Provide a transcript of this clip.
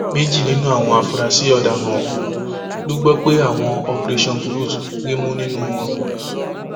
méjì nínú àwọn afurasí ọdaràn ọhún la gbọ pé àwọn operation burut rí mú nínú wọn